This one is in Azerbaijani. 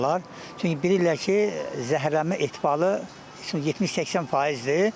Çünki bilirlər ki, zəhərlənmə ehtimalı 70-80%-dir.